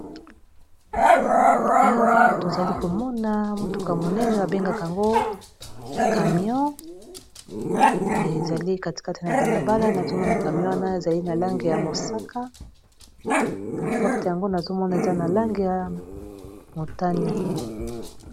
awa tozali komona motuka monene babengaka yango camion ezali katikati na balabala nazomona camyon na ezali na lange ya mosaka na porte yango nazomona eza na lange ya motani